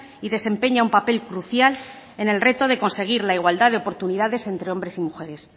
y desempeña un papel crucial en el reto de conseguir la igualdad de oportunidades entre hombres y mujeres